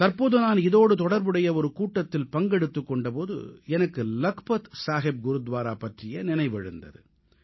தற்போது நான் இதோடு தொடர்புடைய ஒரு கூட்டத்தில் பங்கெடுத்துக் கொண்ட போது எனக்கு லக்பத் சாஹிப் குருத்வாரா பற்றிய நினைவெழுந்தது